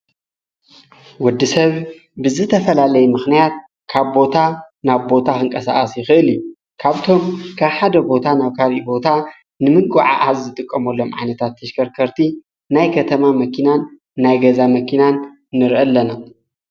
ወዲ ሰብ ብዝተፈላለይ ምኽንያት ካብ ቦታ ናብ ቦታ ኽንቀሠኣስ ይኽእል እዩ ካብቶም ካ ሓደ ቦታ ናብ ካር ዩቦታ ንምጐዓ ሕዚ ዝተቆሞሎም ዓነታት ተሽከርከርቲ ናይ ከተማ መኪናን ናይ ገዛ መኪናን ንርኢ ኣለና